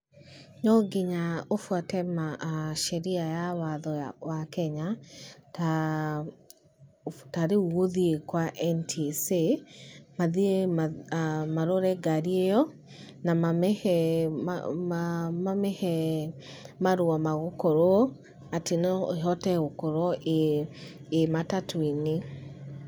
No nginya ũbuate sheria ya watho wa Kenya ta rĩu gũthiĩ kwa NTSA, mathiĩ marore ngarĩ ĩyo, na mamĩhe marũa ma gũkorwo atĩ no ĩhote gũkorwo ĩĩ matatũ-inĩ.